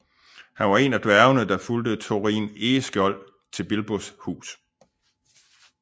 Han var en af dværgene der fulgte Thorin Egeskjold til Bilbos hus